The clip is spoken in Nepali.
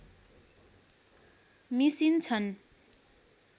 मिसिन्छन्